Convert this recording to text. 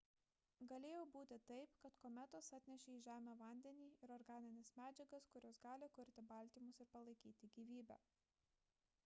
galėjo būti taip kad kometos atnešė į žemę vandenį ir organines medžiagas kurios gali kurti baltymus ir palaikyti gyvybę